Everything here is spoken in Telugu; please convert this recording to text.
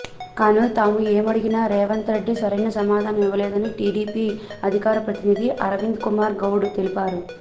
కానీ తాము ఏమడిగినా రేవంత్ రెడ్డి సరైన సమాధానం ఇవ్వలేదని టీడీపీ అధికార ప్రతినిధి అరవింద్ కుమార్ గౌడ్ తెలిపారు